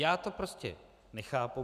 Já to prostě nechápu.